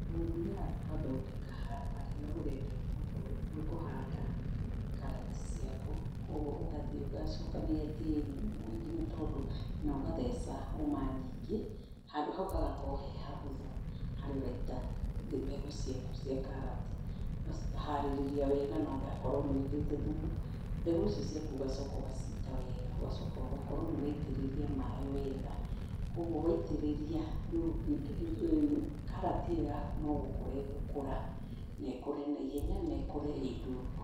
Tũthiaga tũkathondeka handũ harĩa ũrenda kũhanda karati ciaku. Kwoguo, ũgathiĩ ugacokanĩrĩria tĩĩri mũingĩ, nĩ tondũ, na ũgatheca hũma nyingĩ, handũ hau hahagorwo he hahũthu, harĩa ũraita mbegũ ciaku cia karati. Ũkaharĩrĩria wega na ũgakorwo nĩ wĩkĩrĩte thumu, mbegũ icio ciaku ũgacoka ũgaciita wega. Ũgacoka ũgakorwo nĩ ũraitĩrĩria maaĩ wega. Kwoguo waitĩrĩria rĩu karati ĩyo yaku no gũkũra ĩgũkũra, na ĩkũre naihenya na ĩkũre ĩ ndungu.